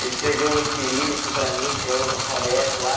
Ele escreveu em cirílico para mim, que é outro alfabeto lá.